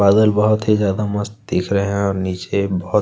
बादल बहुत ही ज्यादा मस्त दिख रहै है और नीचे बोहोत --